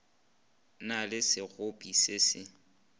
na le sekgopi se se